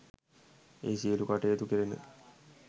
එහි සියලු කටයුතු කෙරුණ